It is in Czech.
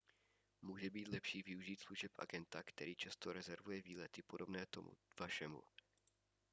může být lepší využít služeb agenta který často rezervuje výlety podobné tomu vašemu